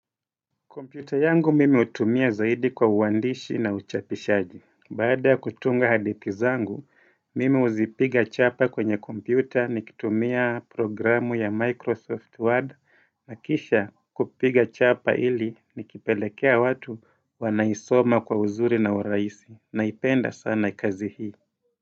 Komputa yangu mimi utumia zaidi kwa uwandishi na uchapishaji. Baada kutunga hadithi zangu, mimi uzipiga chapa kwenye kompyuta ni kitumia program ya Microsoft Word. Na kisha kupiga chapa ili nikipelekea watu wanaisoma kwa uzuri na urahisi. Naipenda sana kazi hii.